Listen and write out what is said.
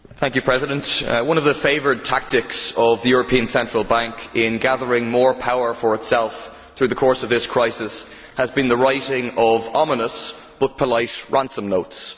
Madam President, one of the favourite tactics of the European Central Bank in gathering more power for itself through the course of this crisis has been the writing of ominous, but polite, ransom notes.